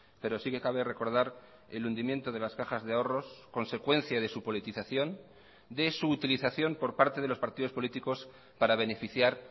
pero sí que cabe recordar el hundimiento de las cajas de ahorros consecuencia de su politización de su utilización por parte de los partidos políticos para beneficiar